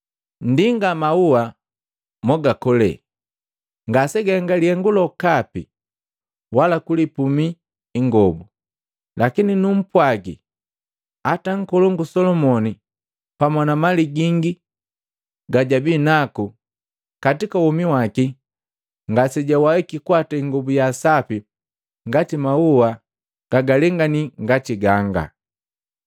Nndinga maua mogakole, ngasegaenga lihengu lokapi wala kulipumi ingobu. Lakini numpwagi, hata Nkolongu Solomoni pamwa na mali gingi yejabinaku katika womi waki ngasejawahiki kuwata ingobu ya sapi ngati mauwa gagalengani ngati ganga.